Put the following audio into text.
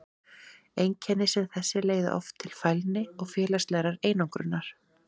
Einkenni sem þessi leiða oft til fælni og félagslegrar einangrunar.